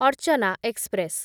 Archana express